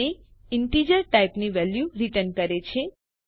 તે ઇન્ટિજર ટાઇપની value return કરે છે